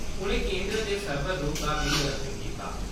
उ'नें केन्द्र दे सर्वर रुम दा बी निरीक्षण कीता।